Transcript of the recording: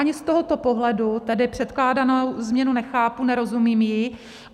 Ani z tohoto pohledu tedy předkládanou změnu nechápu, nerozumím jí.